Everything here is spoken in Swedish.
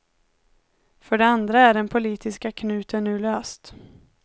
För det andra är den politiska knuten nu löst.